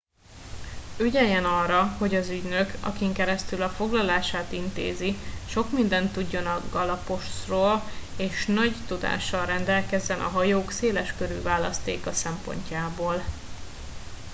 ügyeljen arra hogy az ügynök akin keresztül a foglalását intézi sok mindent tudjon a galapos ról és nagy tudással rendelkezzen a hajók széleskörű választéka szempontjából